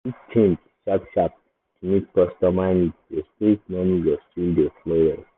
if you fit change sharp-sharp to meet customer need your street money go still dey flow well.